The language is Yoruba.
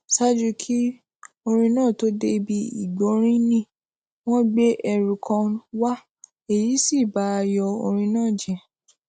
ṣáájú kí orin náà tó dé bí igbórinin wón gbé ẹrù kan wá èyí sì ba ayò orin náà jé